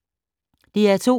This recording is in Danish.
DR2